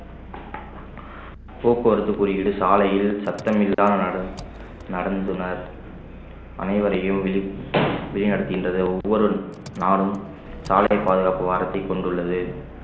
போக்குவரத்து குறியீடு சாலையில் சத்தமில்லாத நடந்~ நடந்துனர் அனைவரையும் வழி வழி நடத்துகின்றது ஒவ்வொரு நாளும் சாலை பாதுகாப்பு வாரத்தை கொண்டுள்ளது